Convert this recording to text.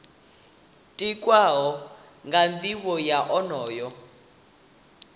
tikwaho nga nivho ya onoyo